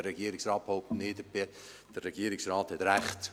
Der Regierungsrat behauptet nicht, der Regierungsrat hat Recht!